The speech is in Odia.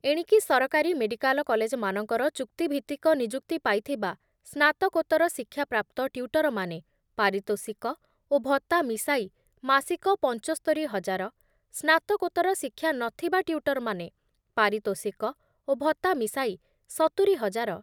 ଏଣିକି ସରକାରୀ ମେଡ଼ିକାଲ କଲେଜ୍‌ମାନଙ୍କର ଚୁକ୍ତିଭିତ୍ତିକ ନିଯୁକ୍ତି ପାଇଥିବା ସ୍ନାତକୋତ୍ତର ଶିକ୍ଷାପ୍ରାପ୍ତ ଟ୍ୟୁଟରମାନେ ପାରିତୋଷିକ ଓ ଭତ୍ତା ମିଶାଇ ମାସିକ ପଂଚସ୍ତରି ହଜାର, ସ୍ନାତକୋତ୍ତର ଶିକ୍ଷାନଥିବା ଟ୍ୟୁଟରମାନେ ପାରିତୋଷିକ ଓ ଭତ୍ତା ମିଶାଇ ସତୁରି ହଜାର